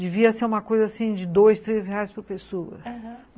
devia ser uma coisa assim de dois, três reais por pessoa, aham.